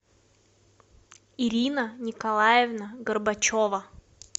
ирина николаевна горбачева